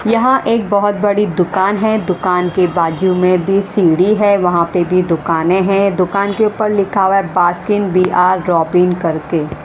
यहाँ एक बहुत बड़ी दुकान है दुकान की बाजू में भी सीढ़ी है वहाँ पे भी दुकानें हैं दुकान के ऊपर लिखा हुआ है बास्किन बी आर रोबिन करके --